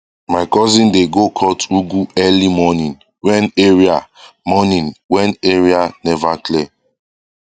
my cousin dey go cut ugu early morning when area morning when area never clear